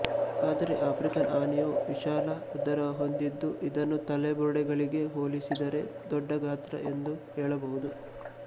ಆದರೆ ಆಫ್ರಿಕನ್ ಆನೆಯು ವಿಶಾಲ ಉದರ ಹೊಂದಿದ್ದು ಇದನ್ನು ತಲೆ ಬುರುಡೆಗಳಿಗೆ ಹೋಲಿಸಿದರೆ ದೊಡ್ಡ ಗಾತ್ರ ಎಂದು ಹೇಳಬಹುದು